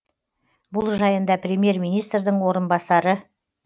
бұл жайында премьер министрдің орынбасары